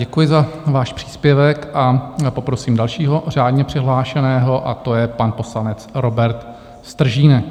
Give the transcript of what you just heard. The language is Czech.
Děkuji za váš příspěvek a poprosím dalšího řádně přihlášeného, a to je pan poslanec Robert Stržínek.